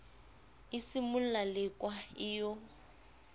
e simolla lekwa e yo